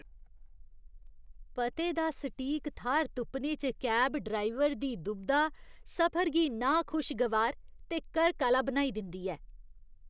पते दा सटीक थाह्‌र तुप्पने च कैब ड्राइवर दी दुबधा सफर गी नाखुशगवार ते करक आह्‌ला बनाई दिंदी ऐ।